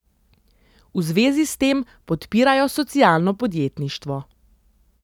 V zvezi s tem podpirajo socialno podjetništvo.